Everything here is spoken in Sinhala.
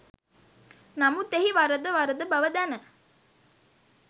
නමුත් එහි වරද වරද බව දැන